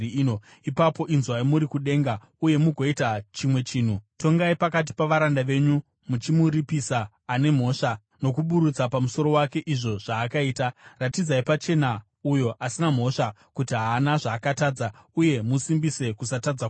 ipapo inzwai muri kudenga uye mugoita chimwe chinhu. Tongai pakati pavaranda venyu, muchimuripisa ane mhosva nokuburutsa pamusoro wake izvo zvaakaita. Ratidzai pachena uyo asina mhosva kuti haana zvaakatadza uye musimbise kusatadza kwake.